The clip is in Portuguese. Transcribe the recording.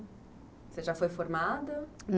Você já foi formada?